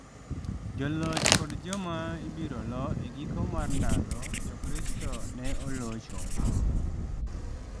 Joloch kod joma ibiro lo e giko mar ndalo, jokristo ne olocho